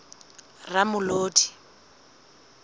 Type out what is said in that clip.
ramolodi